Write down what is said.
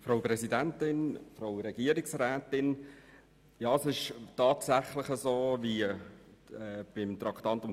Tatsächlich ist es wie beim vorherigen Traktandum.